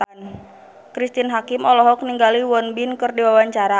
Cristine Hakim olohok ningali Won Bin keur diwawancara